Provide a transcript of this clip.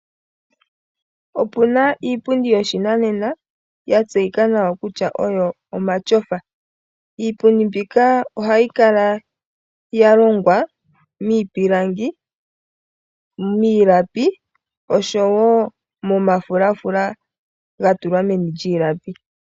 Opuna iipundi yoshinanena yatseyika nawa kutya omatyofa. Iipundi mbika ohayi kala yalongwa miipilangi, miilapi oshowo momafulafula gatulwa meni lyiilapi.